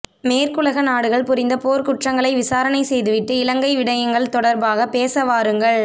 மேற்குலக நாடுகள் புரிந்த போர்க்குற்றங்களை விசாரணை செய்துவிட்டு இலங்கை விடயங்கள் தொடர்பாக பேசவாருங்கள்